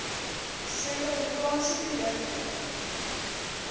suid afrikaanse produkte